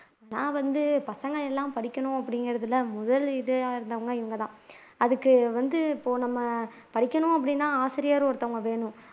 நான் வந்து பசங்க எல்லாம் படிக்கணும் அப்படிங்கிறதுல முதல் இதா இருந்தவங்க இவங்கதான் அதுக்கு வந்து போன படிக்கணும் அப்படின்னா ஆசிரியர் ஒருத்தங்க வேணும்